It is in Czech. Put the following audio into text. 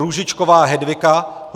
Růžičková Hedvika